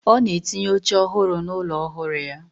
Ona etinye oche ohuru na ulo ohuru ya.